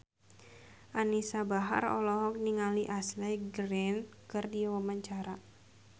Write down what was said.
Anisa Bahar olohok ningali Ashley Greene keur diwawancara